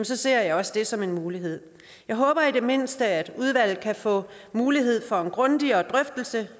ser jeg også det som en mulighed jeg håber i det mindste at udvalget kan få mulighed for en grundigere drøftelse